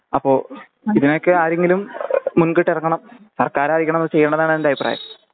അപ്പൊ ഞാൻ ക്ക് ആരെങ്കിലും മുൻകിട്ട് എറങ്ങണം സർക്കാരായിരിക്കണം അത് ചെയണ്ടതാണ് എന്റെ അഭിപ്രായം